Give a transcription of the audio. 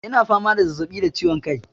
Yana fama da zazzabi da ciwon kai.